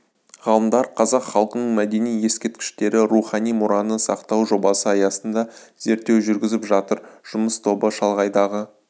ғалымдар қазақ халқының мәдени ескерткіштері рухани мұраны сақтау жобасы аясында зерттеу жүргізіп жатыр жұмыс тобы шалғайдағы